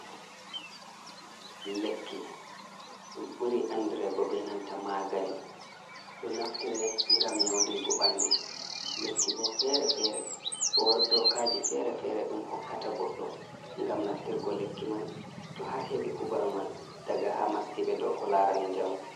Lekki ɗum buri anɗirego be nanta magani. Ɗo naftire ngam nyaundigo banɗu. Lekki bo fere-fere. Bo ɗokaji fere-fere ɗum hokkata goɗɗo ngam naftirgo lekki man. to har hebi kubaru man ɗaga ha maskibe ɗow ko larani jamu.